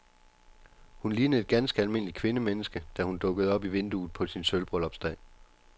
Hun lignede et ganske almindeligt kvindemenneske, da hun dukkede op i vinduet på sin sølvbryllupsdag.